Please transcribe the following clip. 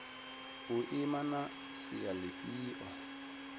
u ima na sia lifhio